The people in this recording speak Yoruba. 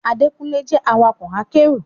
Adékúnlé jẹ́ awakọ̀ akẹ́rù